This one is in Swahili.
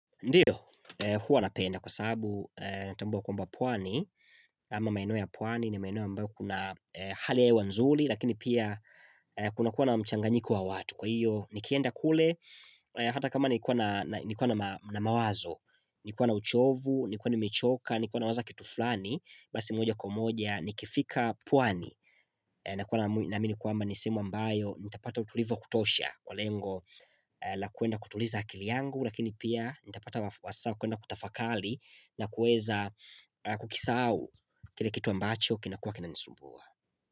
Ndiyo, huwa napenda kwa sababu natambua kwamba pwani, ama maeneo ya pwani, ni maeneo ambao kuna hali ya hewa nzuli, lakini pia kuna kuwa na mchanganyiko wa watu. Kwa hiyo, nikienda kule, hata kama nikuwa na mawazo, nikuwa na uchovu, nikuwa nimechoka, ni kuwa nawaza kitu fulani, basi moja kwa moja, nikifika pwani. Na kuwa naamini kwamba ni sehemu ambayo, nitapata utulivu wa kutosha kwa lengo la kuenda kutuliza akili yangu, lakini pia nitapata wasaa kuenda kutafakali na kueza kukisahau kile kitu ambacho kinakuwa kinanisumbua.